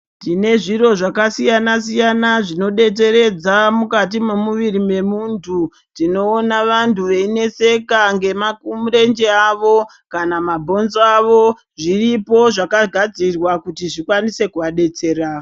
Tine zviro zvakasiyana siyana zvinodetseredza mukati mwemuviri mwemuntu tinoona vantu veineseka ngemakurwnje awo kana mabhonzo awo zviripo zvakagadzirwa kuti zvikwanise kuadetsera.